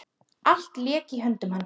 Allt lék í höndum hans.